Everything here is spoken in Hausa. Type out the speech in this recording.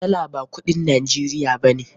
Dala ba kudin Najeriya ba ne.